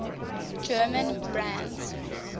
german brands